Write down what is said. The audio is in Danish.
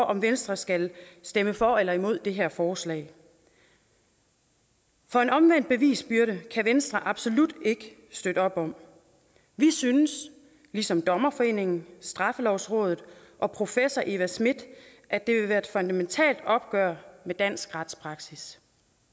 om venstre skal stemme for eller imod det her forslag for en omvendt bevisbyrde kan venstre absolut ikke støtte op om vi synes ligesom dommerforeningen straffelovrådet og professor eva smith at det vil være et fundamentalt opgør med dansk retspraksis